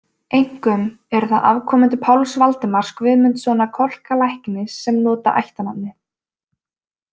Einkum eru það afkomendur Páls Valdimars Guðmundssonar Kolka læknis sem nota ættarnafnið.